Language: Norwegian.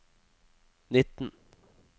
nitten